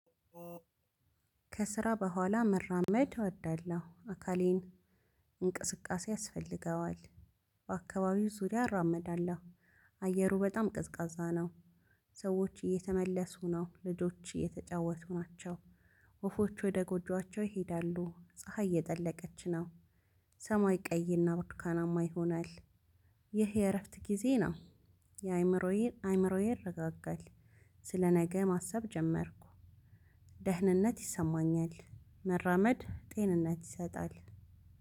ከስራ በኋላ መራመድ እወዳለሁ አካሌን እንቅስቃሴ ያስፈልገዋል። በአካባቢው ዙሪያ እራመዳለሁ። አየሩ በጣም ቀዝቃዛ ነው። ሰዎች እየተመለሱ ነው። ልጆች እየተጫወቱ ናቸው። ወፎች ወደ ጎጆአቸው ይሄዳሉ። ፀሀይ እየጠለቀች ነው። ሰማይ ቀይ እና ብርቱካናማ ይሆናል። ይህ የረፍት ጊዜ ነው። ያይምሮዬ አይምሮዬ ይረጋጋል። ስለነገ ማሰብ ጀመርኩ። ደህንነት ይሰማኛል መራመድ ጤንነት ይሰጣል።